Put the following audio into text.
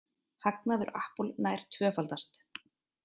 Hagnaður Apple nær tvöfaldast